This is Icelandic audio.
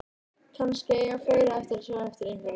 Kannski eiga fleiri eftir að sjá eftir einhverju.